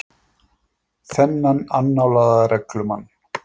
Þennan annálaða reglumann.